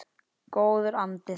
Góður andi þar.